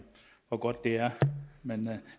hvor godt det er men